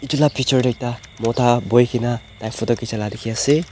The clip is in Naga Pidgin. edu la picture tae ekta mota boikaena tai photo khichi la dikhiase.